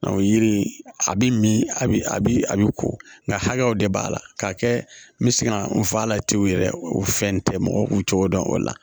Nka o yiri in a bi min a bi a bi a bi ko nka hakɛw de b'a la k'a kɛ n bɛ se ka n fɔ a la ten yɛrɛ o fɛn tɛ mɔgɔw k'u cogo dɔn o la